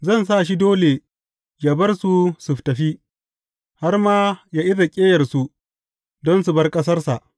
Zan sa shi dole yă bar su su tafi, har ma yă iza ƙyeyarsu don su bar ƙasarsa!